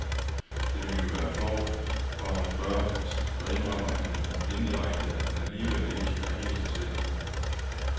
Det ville jo være flovt for ham at spørge, for så indrømmer han jo indirekte, at han alligevel ikke er helt så sikker.